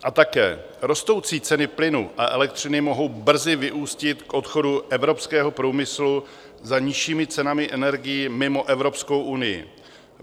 A také rostoucí ceny plynu a elektřiny mohou brzy vyústit k odchodu evropského průmyslu za nižšími cenami energií mimo Evropskou unii.